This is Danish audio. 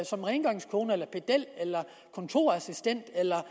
som rengøringskone eller pedel eller kontorassistent eller